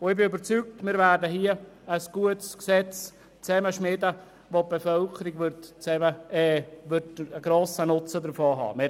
Ich bin überzeugt, wir werden ein gutes Gesetz schmieden, von dem die Bevölkerung grossen Nutzen haben wird.